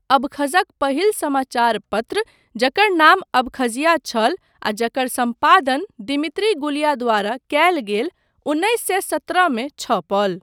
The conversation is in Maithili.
अबखज़क पहिल समाचारपत्र, जकर नाम अबखज़िया छल आ जकर सम्पादन दिमित्री गुलिया द्वारा कयल गेल, उन्नैस सए सत्रह मे छपल।